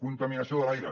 contaminació de l’aire